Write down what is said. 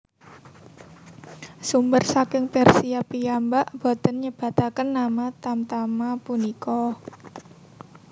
Sumber saking Persia piyambak boten nyebataken nama tamtama punika